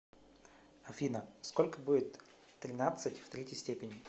афина сколько будет тринадцать в третьей степени